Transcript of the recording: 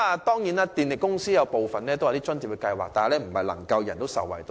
當然，電力公司也設有津貼計劃，但並非人人受惠。